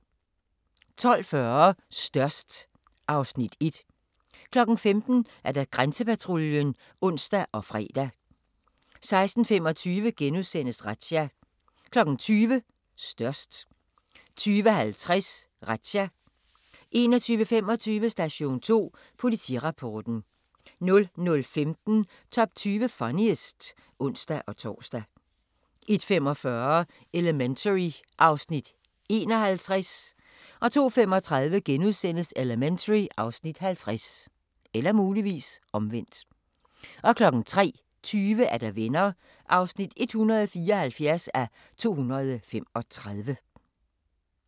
12:40: Størst (Afs. 1) 15:00: Grænsepatruljen (ons og fre) 16:25: Razzia * 20:00: Størst 20:50: Razzia 21:25: Station 2: Politirapporten 00:15: Top 20 Funniest (ons-tor) 01:45: Elementary (Afs. 51) 02:35: Elementary (Afs. 50)* 03:20: Venner (174:235)